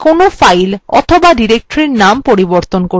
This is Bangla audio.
এটা কোনো file অথবা directory নাম পরিবর্তন করতে ব্যবহৃত হয়